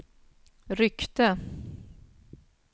ryckte